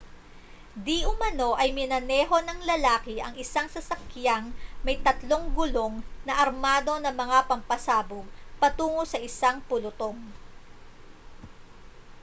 diumano ay minaneho ng lalaki ang isang sasakyang may tatlong gulong na armado ng mga pampasabog patungo sa isang pulutong